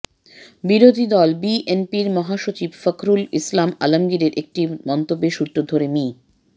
বিরোধীদল বিএনপির মহাসচিব ফখরুল ইসলাম আলমগীরের একটি মন্তব্যের সূত্র ধরে মি